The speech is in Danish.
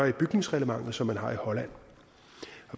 i bygningsreglementet som man har i holland